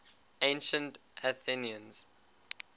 ancient athenians